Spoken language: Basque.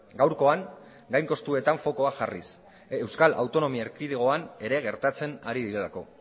gaurkoan gain kostuetan fokua jarriz euskal autonomi erkidegoan ere gertatzen ari direlako